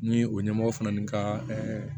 Ni o ɲɛmɔgɔ fana ni n ka